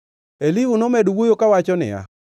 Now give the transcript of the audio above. Elihu nomedo wuoyo kawacho niya: